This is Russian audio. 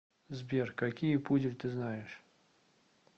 сбер какие пудель ты знаешь